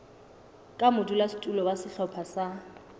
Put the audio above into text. ka modulasetulo wa sehlopha sa